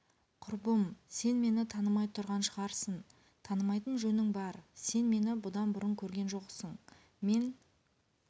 құрбым сен мені танымай тұрған шығарсын танымайтын жөнің бар сен мені бұдан бұрын көрген жоқсың мен